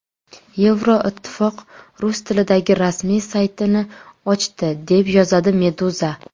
Yevroittifoq rus tilidagi rasmiy saytini ochdi, deb yozadi Meduza.